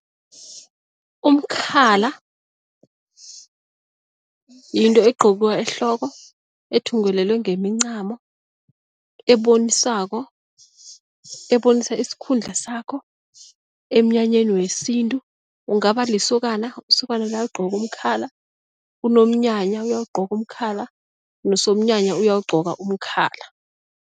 Umkhala yinto egqokwa ehloko, ethungelelwe ngemincamo, ebonisako ebonisa isikhundla sakho emnyanyeni wesintu, ungaba lisokana, isokana liyawugqoka umkhala, unomnyanya uyawugqoka umkhala nesomnyanya ayawugqoka umkhala.